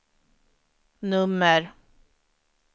nummer